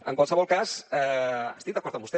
en qualsevol cas estic d’acord amb vostè